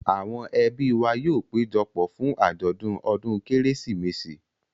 Àwọn ẹbí wa yóò péjọ pọ̀ fún àjọ̀dún ọdún Kérésìmesì.